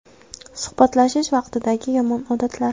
Suhbatlashish vaqtidagi yomon odatlar.